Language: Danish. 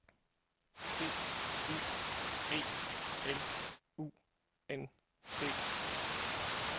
D U E L U N D